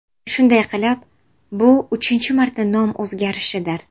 Shunday qilib, bu uchinchi marta nom o‘zgarishidir.